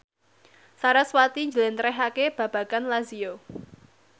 sarasvati njlentrehake babagan Lazio